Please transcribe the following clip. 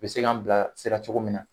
U bɛ se k'an bilasira cogo min na.